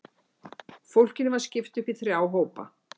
Fólkinu var skipt upp í þrjá hópa.